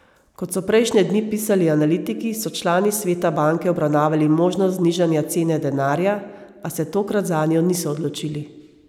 Kot so prejšnje dni pisali analitiki, so člani sveta banke obravnavali možnost znižanja cene denarja, a se tokrat zanjo niso odločili.